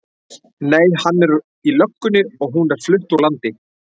Nei, hann er í löggunni og hún er flutt úr landi.